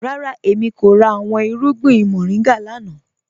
Rárá, èmi kò rà awọn irùgbìn moringa lánà.